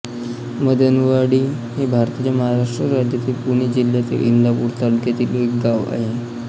मदनवाडी हे भारताच्या महाराष्ट्र राज्यातील पुणे जिल्ह्यातील इंदापूर तालुक्यातील एक गाव आहे